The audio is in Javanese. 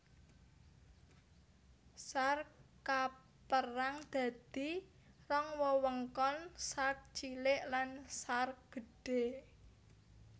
Sark kapérang dadi rong wewengkon Sark Cilik lan Sark Gedhé